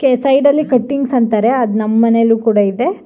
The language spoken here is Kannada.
ಸೈಡ್ ಅಲ್ಲಿ ಕಟ್ಟಿಂಗ್ಸ್ ಅಂತಾರೆ. ಅದ್ ನಮ್ ಮನೇಲೂ ಕೂಡ ಇದೆ.